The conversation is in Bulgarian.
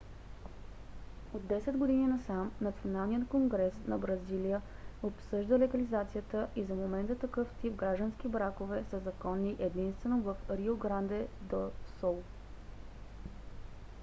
от 10 години насам националният конгрес на бразилия обсъжда легализацията и за момента такъв тип граждански бракове са законни единствено в рио гранде до сул